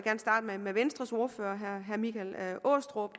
vil med venstres ordfører herre michael aastrup